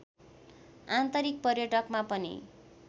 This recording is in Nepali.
आन्तरिक पर्यटकमा पनि